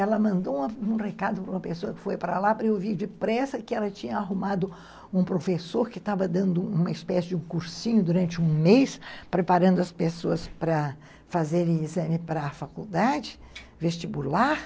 Ela mandou um recado para uma pessoa que foi para lá, para eu ouvir depressa que ela tinha arrumado um professor que estava dando uma espécie de cursinho durante um mês, preparando as pessoas para fazerem exame para a faculdade, vestibular.